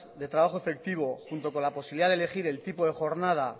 de trabajo efectivo junto con la posibilidad de elegir el tipo de jornada